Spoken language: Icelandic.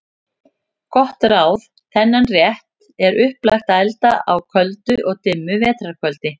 Gott ráð: Þennan rétt er upplagt að elda á köldu og dimmu vetrar kvöldi.